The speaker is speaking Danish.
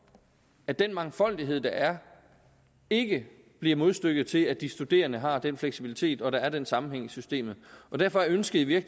at den mangfoldighed der er ikke bliver modstykket til at de studerende har den fleksibilitet og at der er den sammenhæng i systemet derfor er ønsket i